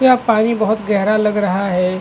यह पानी बहुत गहरा लग रहा है।